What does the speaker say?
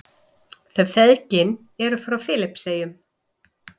Þau feðginin eru frá Filippseyjum.